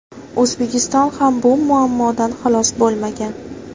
O‘zbekiston ham bu muammodan xalos bo‘lmagan.